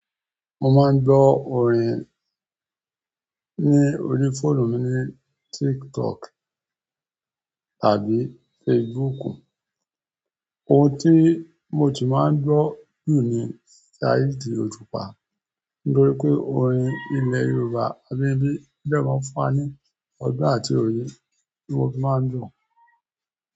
Mo máa ń gbọ́ orin ni orí fóònù mi ni tiktok àbí facebook. Ohun tí mo tí máa ń gbọ́ jù ni Saheed Ojùpá, nítorí pé orin ilẹ̀ Yorùbá abínibí o dẹ́ máa ń fún wa ní ọgbọ́n àti òye, tí mo fi máa ń gbọ̀